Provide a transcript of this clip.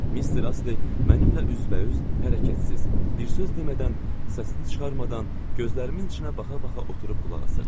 Mister Astley mənimlə üz-üzə, hərəkətsiz, bir söz demədən, səsini çıxarmadan, gözlərimin içinə baxa-baxa oturub qulaq asırdı.